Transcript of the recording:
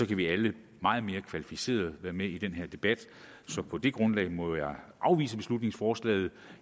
vi alle meget mere kvalificeret være med i den her debat så på det grundlag må jeg afvise beslutningsforslaget